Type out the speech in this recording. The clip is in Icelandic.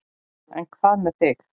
En hvað með þig.